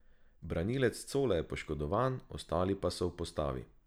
Branilec Cole je poškodovan, ostali pa so v postavi.